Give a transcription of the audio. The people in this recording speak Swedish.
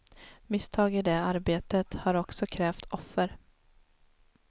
Misstag i det arbetet har också krävt offer.